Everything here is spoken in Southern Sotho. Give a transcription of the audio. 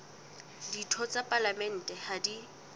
ditho tsa palamente ha di